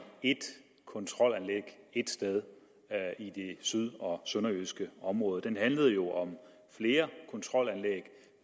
ét kontrolanlæg ét sted i det syd og sønderjyske område den handlede jo om flere kontrolanlæg